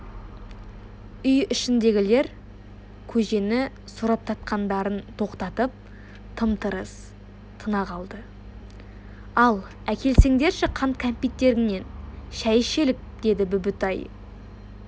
үй ішіндегілер көжені сораптатқандарын тоқтатып тым-тырыс тына қалды ал әкелсеңдерші қант-кәмпиттеріңнен шай ішелік деді бүбітай